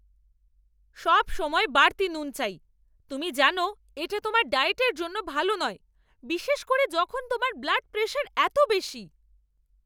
সবসময় বাড়তি নুন চাই! তুমি জানো এটা তোমার ডায়েটের জন্য ভালো নয়, বিশেষ করে যখন তোমার ব্লাড প্রেশার এত বেশি।